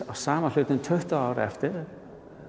af sama hlutnum tuttugu árum eftir